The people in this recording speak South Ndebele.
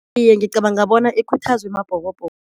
Iye ngicabanga bona ikhuthazwe Mabhokobhoko.